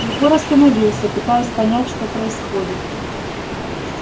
егор остановился пытаясь понять что происходит